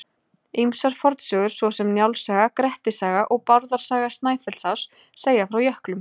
Ýmsar fornsögur svo sem Njáls saga, Grettis saga og Bárðar saga Snæfellsáss segja frá jöklum.